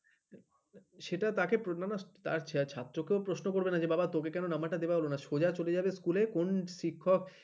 সেটা থাকে প্রণান্য তা ছাত্রকেও প্রশ্ন করবে না যে বাবা তোকে কেন number টা দেওয়া হলো না সোজা চলে যাবে স্কুলে কোন শিক্ষক